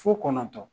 Fo kɔnɔntɔ